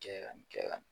Kɛ ka nin kɛ ka